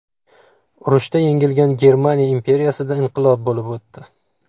Urushda yengilgan Germaniya imperiyasida inqilob bo‘lib o‘tdi.